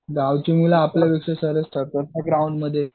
गावची मुलं आपल्यापेक्षा ठरतात ना ग्राऊंडमध्ये.